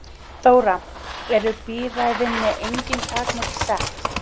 Þóra: Eru bíræfinni engin takmörk sett?